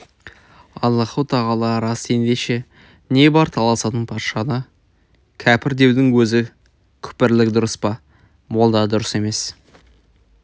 аллаһу-тағала рас ендеше не бар таласатын патшаны кәпір деудің өзі күпірлік дұрыс па молда дұрыс емес